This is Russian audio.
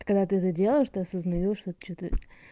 когда ты за дело что осознаешь что что-то